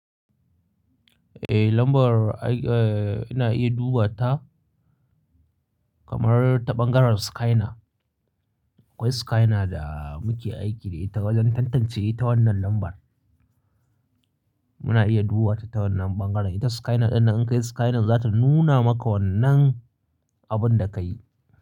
Eh lambar ai, ina iya duba ta, kamar ta ɓangaren skyna. Akwai skyna da muke aiki da ita wajen tantance ita wannan lambar. Muna iya duba ta ta wannan ɓangaren. Ita skyna ɗin nan in ka yi skynan za ta nuna maka wannan abun da ka yi,